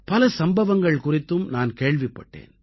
பல சம்பவங்கள் குறித்தும் நான் கேள்விப்பட்டேன்